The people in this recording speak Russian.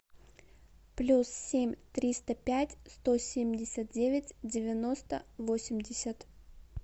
плюс семь триста пять сто семьдесят девять девяносто восемьдесят